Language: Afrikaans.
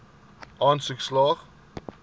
aansoek slaag